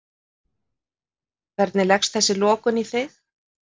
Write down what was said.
Hvernig leggst þessi lokun í þig?